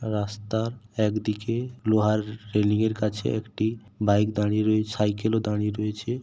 রাস্তার একদিকে লোহার রেলিং এর কাছে একটি বাইক দাঁড়িয়ে রয়েছে সাইকেল ও দাঁড়িয়ে রয়েছে।